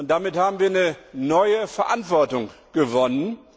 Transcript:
Damit haben wir eine neue Verantwortung gewonnen.